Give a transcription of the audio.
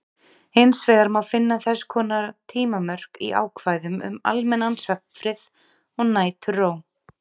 Hins vegar má finna þess konar tímamörk í ákvæðum um almennan svefnfrið og næturró.